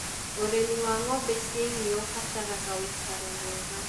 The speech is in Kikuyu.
Ũrĩmi wa ng'ombe cia ĩrĩa ũbataraga ũikaro mwega.